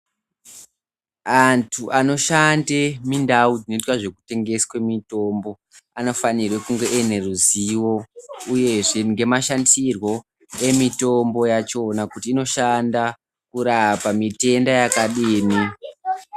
Antu anoshande mindau dzinoitwa zveku tengeswe mitombo anofanirwe kunge uine ruzivo uyezve ngemashandisirwo emitombo yachona kuti inoshanda kurapa mitenda yakadini.